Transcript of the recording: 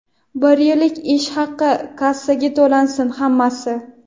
bir yillik ish haqini kassaga to‘lasin hammasi.